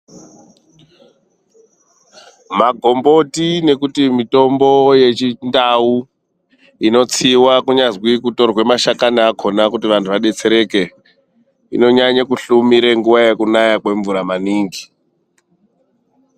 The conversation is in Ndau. Magomboti nekuti mitombo yechindau inotsiwa kunyazwi kutorwe mashakani akona kuti anhu adetsereke, inonyanya kuhlumire nguva yekunaya kwemvura maningi.